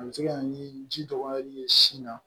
A bɛ se ka na ni ji dɔgɔyali ye sin na